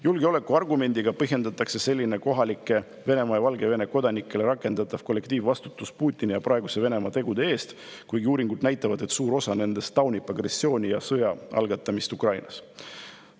Julgeolekuargumendiga selline kohalikele Venemaa ja Valgevene kodanikele rakendatav kollektiivvastutus Putini ja praeguse Venemaa tegude eest, kuigi uuringud näitavad, et suur osa nendest taunib agressiooni ja sõja algatamist Ukrainas.